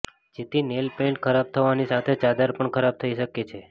જેથી nail paint ખરાબ થવાની સાથે ચાદર પણ ખરાબ થઇ શકે છે